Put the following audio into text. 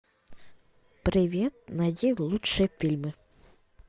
привет найди лучшие фильмы